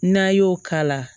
N'an y'o k'a la